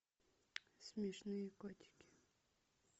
смешные котики